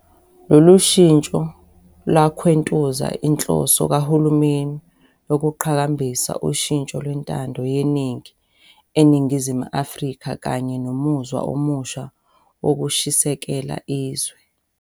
Lolushintsho lwakhwentuza inhloso kahulumeni yokuqhakambisa ushintsho lwentando yeningi eNingizimu Afrika kanye nomuzwa omusha wokushisekela izwe.